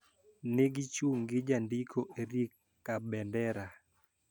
Ni gichung` gi Jandiko Erick Kabendera